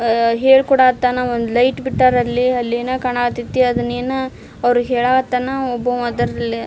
ಅಅ ಹೇಳ್ಕೊಡತ್ತನ ಒಂದ್ ಲೈಟ್ ಬಿಟ್ಟರಲ್ಲಿ ಅಲ್ಲಿ ಏನೋ ಕಾಣಕತೈತಿ ಅದನ್ನೆನೋ ಅವ್ರ ಹೇಳತ್ತನ ಒಬ್ಬವ್ ಅದರ್ರಲ್ಲಿ --